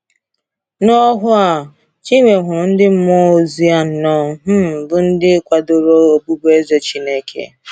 N’ọhụụ a, Chinwe hụrụ ndị mmụọ ozi anọ um bụ́ ndị kwadoro ọbụbụeze Chineke.